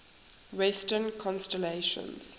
western constellations